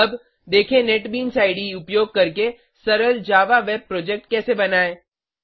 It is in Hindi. अब देखें नेटबीन्स इडे उपयोग करके सरल जावा वेब प्रोजेक्ट कैसे बनायें